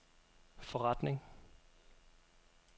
forretning